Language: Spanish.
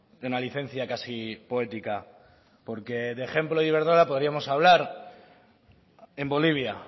de una licencia casi poética porque de ejemplo de iberdrola podríamos hablar en bolivia